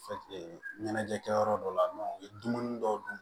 ɲɛnajɛ kɛ yɔrɔ dɔw la u ye dumuni dɔw dun